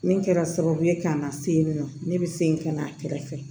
Min kɛra sababu ye ka n na se yen nɔ ne bɛ se ka na a kɛrɛfɛ